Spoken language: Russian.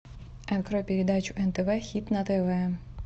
открой передачу нтв хит на тв